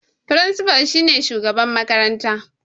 Firinsifa shine shugaban makaranta